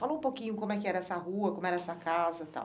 Fala um pouquinho como é que era essa rua, como era essa casa e tal.